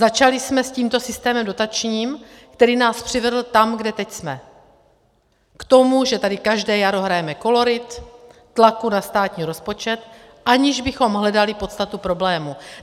Začali jsme s tímto systémem dotačním, který nás přivedl tam, kde teď jsme, k tomu, že tady každé jaro hrajeme kolorit tlaku na státní rozpočet, aniž bychom hledali podstatu problému.